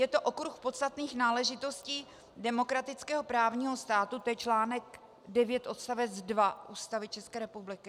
Je to okruh podstatných náležitostí demokratického právního státu, to je článek 9 odst. 2 Ústavy České republiky.